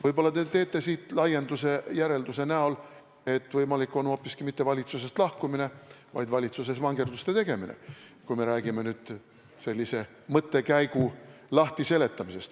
Võib-olla te teete siit laienduse ja järelduse, et võimalik on hoopiski mitte valitsusest lahkumine, vaid valitsuses vangerduste tegemine, kui me selle mõttekäigu nüüd lahti seletame.